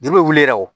Juru bɛ wuli yɛrɛ o